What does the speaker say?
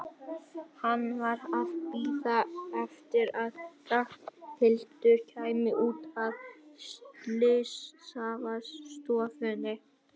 Hann var að bíða eftir að Ragnhildur kæmi út af slysavarðstofunni.